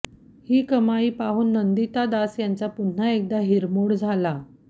ही कमाई पाहून नंदिता दास यांचा पुन्हा एकदा हिरमोड झाला